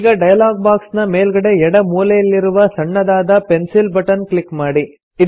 ಈಗ dialog box ನ ಮೇಲ್ಗಡೆ ಎಡ ಮೂಲೆಯಲ್ಲಿರುವ ಸಣ್ಣದಾದ ಪೆನ್ಸಿಲ್ ಬಟನ್ ಕ್ಲಿಕ್ ಮಾಡಿ